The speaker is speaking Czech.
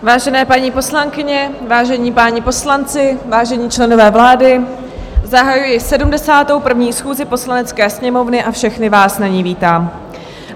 Vážené paní poslankyně, vážení páni poslanci, vážení členové vlády, zahajuji 71. schůzi Poslanecké sněmovny a všechny vás na ní vítám.